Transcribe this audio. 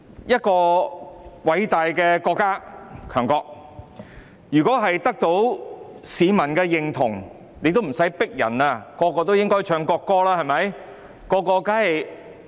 一個偉大的國家、強國，如果得到市民認同，大家不用強迫自然便會唱國歌，對嗎？